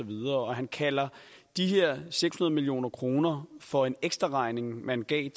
og han kalder de her seks hundrede million kroner for en ekstraregning man gav